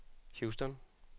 Houston